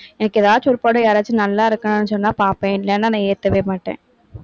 எனக்கு ஏதாச்சு ஒரு படம், யாராச்சும் நல்லா இருக்குன்னு சொன்னா பார்ப்பேன். இல்லைன்னா நான் ஏத்தவே மாட்டேன்.